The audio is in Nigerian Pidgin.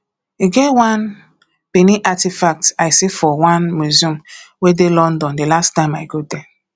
e get one benin artefact i see for one museum wey dey london the last time i go there